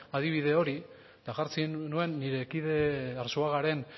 adibide hori eta jartzen nuen nire kide arzuagaren